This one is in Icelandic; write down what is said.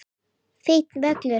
Fínn völlur.